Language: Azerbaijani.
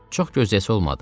Çox gözləyəsi olmadı.